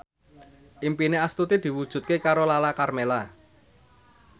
impine Astuti diwujudke karo Lala Karmela